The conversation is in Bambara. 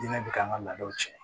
Diinɛ bi k'an ka laadaw cɛn